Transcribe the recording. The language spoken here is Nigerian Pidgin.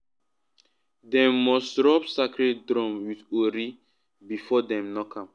dem must rub sacred drum with ori before dem knock am.